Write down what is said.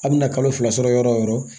A bɛna kalo fila sɔrɔ yɔrɔ o yɔrɔ